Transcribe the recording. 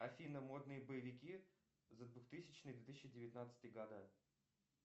афина модные боевики за двух тысячный две тысячи девятнадцатый года